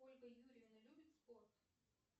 ольга юрьевна любит спорт